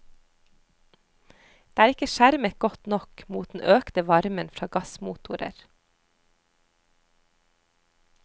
Det er ikke skjermet godt nok mot den økte varmen fra gassmotorer.